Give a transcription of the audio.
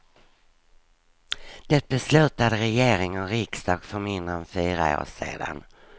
Det beslutade regering och riksdag för mindre än fyra år sedan.